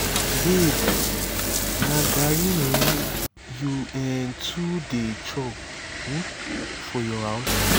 babe na garri um you um too dey chop for um your house?